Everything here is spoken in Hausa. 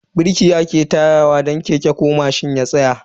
Birki ake takawa don keke ko mashin ya tsaya.